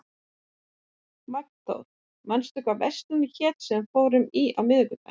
Magnþór, manstu hvað verslunin hét sem við fórum í á miðvikudaginn?